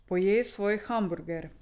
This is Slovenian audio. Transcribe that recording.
Pojej svoj hamburger.